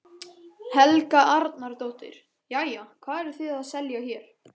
Helga Arnardóttir: Jæja, hvað eruð þið að selja hér?